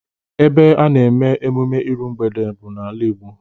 Ebe a na-eme emume iru mgbede n'ala Igbo